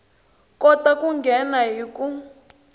kota ku nghena hi ku